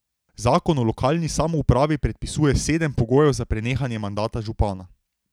Zakon o lokalni samoupravi predpisuje sedem pogojev za prenehanje mandata župana.